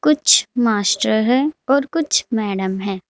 कुछ मास्टर है और कुछ मैडम है।